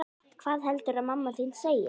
Hvað heldurðu að mamma þín segi?